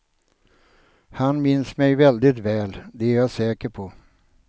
Han minns mig väldigt väl, det är jag säker på.